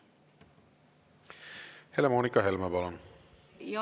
Helle-Moonika Helme, palun!